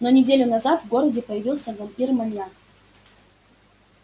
но неделю назад в городе появился вампир-маньяк